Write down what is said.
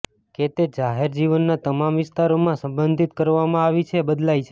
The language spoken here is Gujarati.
કે તે જાહેર જીવનના તમામ વિસ્તારોમાં સંબંધિત કરવામાં આવી છે બદલાય છે